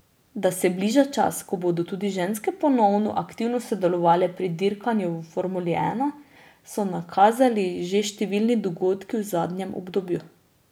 Da se bliža čas, ko bodo tudi ženske ponovno aktivno sodelovale pri dirkanju v formuli ena, so nakazali že številni dogodki v zadnjem obdobju.